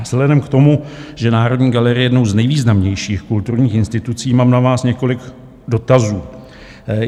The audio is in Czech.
Vzhledem k tomu, že Národní galerie je jednou z nejvýznamnějších kulturních institucí, mám na vás několik dotazů.